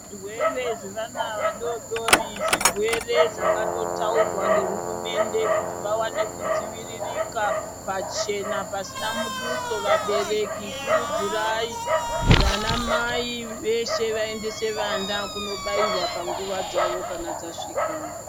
Zvirwere zvevana vadodori zvirwere zvakatotaurwa ngehurumende kuti vawane kudziviriraka pachena pasina muduso vabereki kurudzirai vana mai veshe vaendese vana kundobairwa panguwa dzawo kana dzasvika.